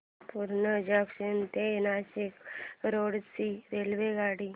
Purna junction ते Nashik road ची रेल्वेगाडी